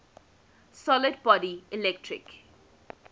solid body electric